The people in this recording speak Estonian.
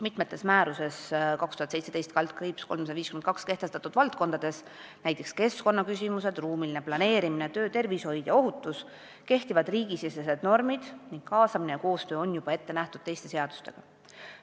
Mitmes määruses 2017/352 märgitud valdkonnas – näiteks keskkonnaküsimused, ruumiline planeerimine, töötervishoid ja -ohutus – kehtivad riigisisesed normid ning kaasamine ja koostöö on juba ette nähtud teiste seadustega.